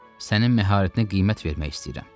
Sənin məharətinə qiymət vermək istəyirəm.